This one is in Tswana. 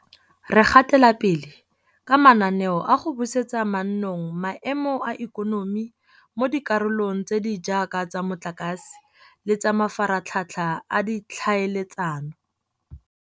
Re gatela pele ka mananeo a go busetsa mannong maemo a ikonomi mo dikarolong tse di jaaka tsa motlakase le tsa mafaratlhatlha a ditlhaeletsano.